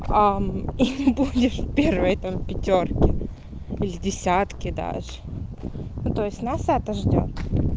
и будешь первая там пятёрки или десятке даже ну то есть нас это ждёт